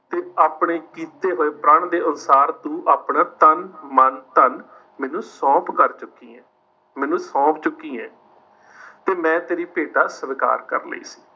ਤੇ ਆਪਣੇ ਕੀਤੇ ਹੋਏ ਪ੍ਰਣ ਦੇ ਅਨੁਸਾਰ ਤੂੰ ਆਪਣਾ ਤਨ, ਮਨ, ਧਨ ਮੈਨੂੰ ਸੌਂਪ ਕਰ ਚੁੱਕੀ ਹੈ। ਮੈਨੂੰ ਸੌਂਪ ਚੁੱਕੀ ਹੈ। ਤੇ ਮੈਂ ਤੇਰੀ ਭੇਟਾ ਸਵੀਕਾਰ ਕਰ ਲਈ।